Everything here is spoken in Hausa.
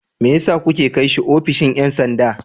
Me yasa kuke kai shi ofishin 'yan sanda?